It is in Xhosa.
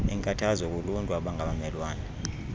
inkathazo kuluntu abangabamelwane